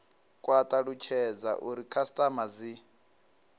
kwa talutshedza uri khasitama dzi